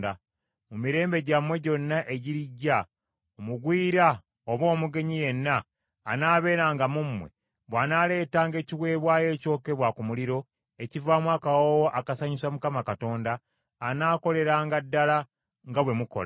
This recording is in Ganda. Mu mirembe gyammwe gyonna egirijja, omugwira oba omugenyi yenna anaabeeranga mu mmwe bw’anaaleetanga ekiweebwayo ekyokebwa ku muliro ekivaamu akawoowo akasanyusa Mukama Katonda, anaakoleranga ddala nga bwe mukola.